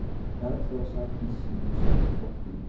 Bergþóra sat í sínu sæti og í